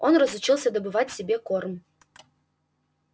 он разучился добывать себе корм